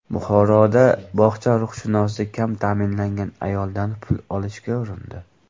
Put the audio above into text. Buxoroda bog‘cha ruhshunosi kam ta’minlangan ayoldan pul olishga urindi.